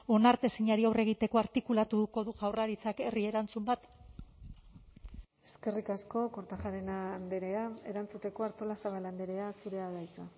onartezinari aurre egiteko artikulatuko du jaurlaritzak herri erantzun bat eskerrik asko kortajarena andrea erantzuteko artolazabal andrea zurea da hitza